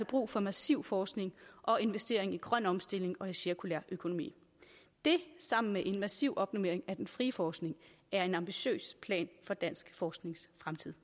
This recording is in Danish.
brug for massiv forskning og investering i grøn omstilling og i cirkulær økonomi det sammen med en massiv opnormering af den frie forskning er en ambitiøs plan for dansk forsknings fremtid